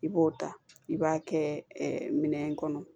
I b'o ta i b'a kɛ minɛn in kɔnɔ